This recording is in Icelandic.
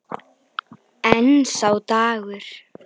En sá dagur!